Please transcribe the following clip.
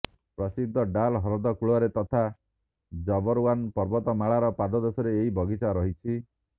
ପ୍ରସିଦ୍ଧ ଡାଲ୍ ହ୍ରଦ କୂଳରେ ତଥା ଜବରୱାନ ପର୍ବତମାଳାର ପାଦଦେଶରେ ଏହି ବଗିଚା ରହିଛି